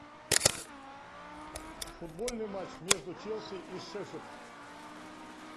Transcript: футбольный матч между челси и шеффилд